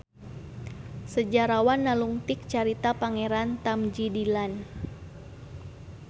Sejarawan nalungtik carita Pangeran Tamjidillan